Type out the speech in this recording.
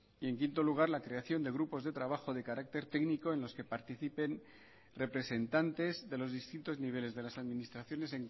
y en quinto lugar la creación de grupos de trabajo de carácter técnico en los que participen representantes de los distintos niveles de las administraciones